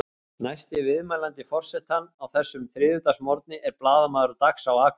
Næsti viðmælandi forsetans á þessum þriðjudagsmorgni er blaðamaður Dags á Akureyri.